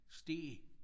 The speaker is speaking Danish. Stege